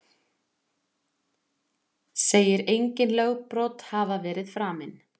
Segir engin lögbrot hafa verið framin